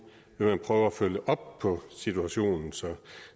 vil prøve at følge op på situationen så